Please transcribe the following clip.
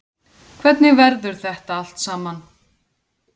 Hvernig verður þetta allt saman?